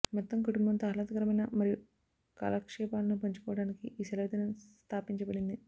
మొత్తం కుటుంబంతో ఆహ్లాదకరమైన మరియు కాలక్షేపాలను పంచుకోవడానికి ఈ సెలవుదినం స్థాపించబడింది